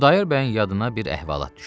Xudayar bəyin yadına bir əhvalat düşdü.